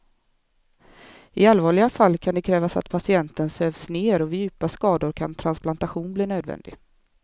I allvarliga fall kan det krävas att patienten sövs ner och vid djupa skador kan transplantation bli nödvändig.